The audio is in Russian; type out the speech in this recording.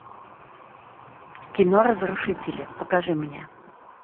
кино разрушители покажи мне